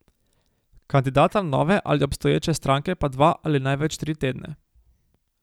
Kandidata nove ali obstoječe stranke pa dva ali največ tri tedne.